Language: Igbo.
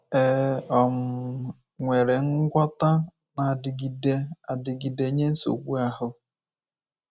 È um nwere ngwọta na-adịgide adịgide nye nsogbu ahụ?